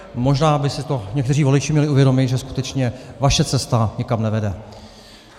Možná by si to někteří voliči měli uvědomit, že skutečně vaše cesta nikam nevede.